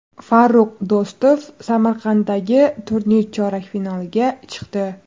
Farrux Do‘stov Samarqanddagi turnir chorak finaliga chiqdi.